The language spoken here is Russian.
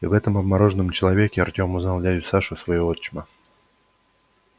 и в этом обмороженном человеке артём узнал дядю сашу своего отчима